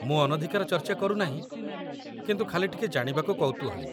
ମୁଁ ଅନଧିକାର ଚର୍ଚ୍ଚା କରୁନାହିଁ, କିନ୍ତୁ ଖାଲି ଟିକେ ଜାଣିବାକୁ କୌତୂହଳୀ